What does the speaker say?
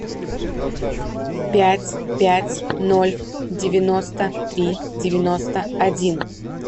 пять пять ноль девяносто три девяносто один